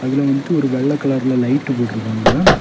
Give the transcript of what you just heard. இதுல வந்துட்டு ஒரு வெள்ள கலர்ல லைட் போட்டுருக்காங்க.